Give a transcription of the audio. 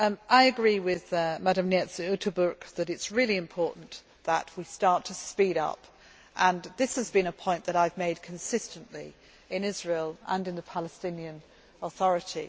I agree with Ms Neyts Uyttebroeck that it is really important that we start to speed up. This has been a point that I have made consistently in Israel and to the Palestinian Authority.